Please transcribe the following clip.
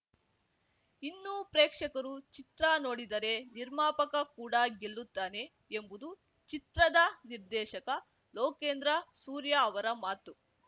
ಇನ್ನೂ ಪ್ರೇಕ್ಷಕರು ಚಿತ್ರ ನೋಡಿದರೆ ನಿರ್ಮಾಪಕ ಕೂಡ ಗೆಲ್ಲುತ್ತಾನೆ ಎಂಬುದು ಚಿತ್ರದ ನಿರ್ದೇಶಕ ಲೋಕೇಂದ್ರ ಸೂರ್ಯ ಅವರ ಮಾತು